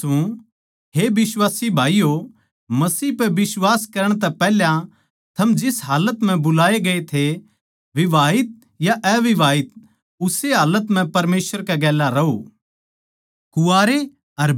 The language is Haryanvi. मै दुबारा तै कहूँ सूं हे बिश्वासी भाईयो मसीह पै बिश्वास करण तै पैहले थम जिस हालत म्ह बुलाये गये थे विवाहित या अविवाहित उस्से हालत म्ह परमेसवर कै गेल्या रहों